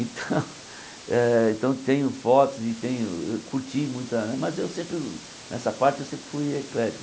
Então, eh então tenho fotos e tenho ãh curti muita, mas eu sempre nessa parte eu sempre fui eclético.